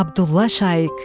Abdulla Şaiq.